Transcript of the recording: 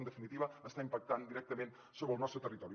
en definitiva està impactant directament sobre el nostre territori